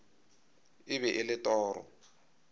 e be e le toro